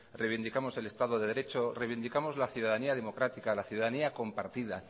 reivindicamos el estado de derecho reivindicamos la ciudadanía democrática la ciudadanía compartida